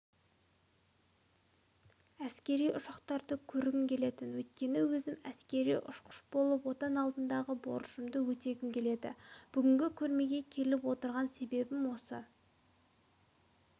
әскери ұшақтарды көргім келетін өйткені өзім әскери ұшқыш болып отан алдындағы борышымды өтегім келеді бүгінгі көрмеге келіп отырған себебім осы